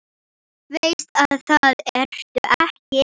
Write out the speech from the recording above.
Veist að það ertu ekki.